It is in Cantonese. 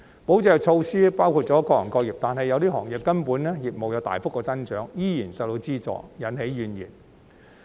保就業措施包含了各行各業，但有些行業的業務其實有大幅增長，依然獲資助，引起怨言。